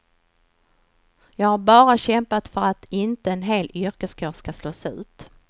Jag har bara kämpat för att inte en hel yrkeskår ska slås ut.